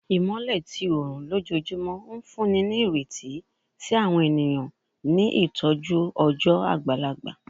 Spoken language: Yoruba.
Imọlẹ ti oorun lojoojumọ n funni ni ireti si awọn eniyan ni itọju ọjọ agbalagba